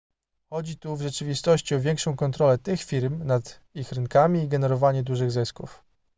chodzi tu w rzeczywistości o większą kontrolę tych firm nad ich rynkami i generowanie dużych zysków